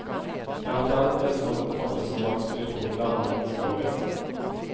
Jeg har fjernet det som kan oppfattes som vanskelig for moderne mennesker å lese.